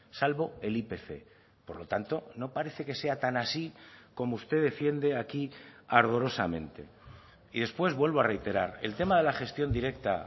salvo el ipc por lo tanto no parece que sea tan así como usted defiende aquí ardorosamente y después vuelvo a reiterar el tema de la gestión directa